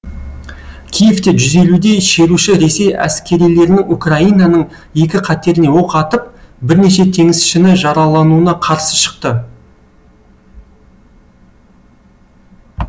киевте жүз елудей шеруші ресей әскерилерінің украинаның екі катеріне оқ атып бірнеше теңізшіні жаралануына қарсы шықты